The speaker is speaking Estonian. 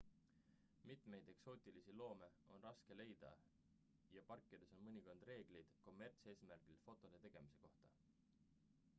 mitmeid eksootilisi loome on raske leida ja parkides on mõnikord reeglid kommertseesmärgil fotode tegemise kohta